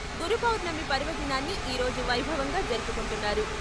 గురుపౌర్ణమి పర్వదినాన్ని ఈరోజు వైభవంగా జరుపుకుంటున్నారు.